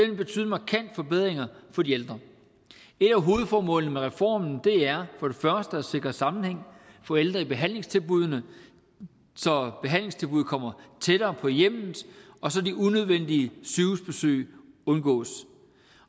vil betyde markante forbedringer for de ældre et af hovedformålene med reformen er for det første at sikre en sammenhæng for ældre i behandlingstilbuddene så behandlingstilbuddet kommer tættere på hjemmet og så de unødvendige sygehusbesøg undgås